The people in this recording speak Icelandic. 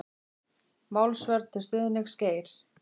Málsvörn til stuðnings Geir